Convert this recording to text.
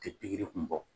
Tɛ pikiri kun bɔ